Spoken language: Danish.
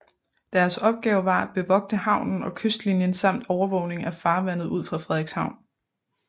Deres opgave var at bevogte havnen og kystlinien samt overvågning af farvandet ud for Frederikshavn